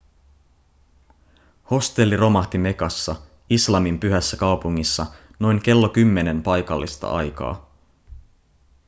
hostelli romahti mekassa islamin pyhässä kaupungissa noin kello 10 paikallista aikaa